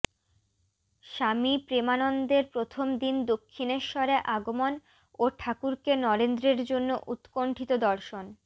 স্বামী প্রেমানন্দের প্রথম দিন দক্ষিণেশ্বরে আগমন ও ঠাকুরকে নরেন্দ্রের জন্য উৎকণ্ঠিত দর্শন